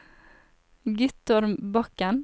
Guttorm Bakken